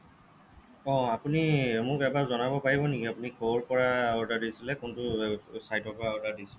অহ্‌ আপুনি মোক এবাৰ জনাব পাৰিব নেকি আপুনি ক'ৰ পৰা order দিছিলে কোনটো site ৰ পৰা order দিছিলে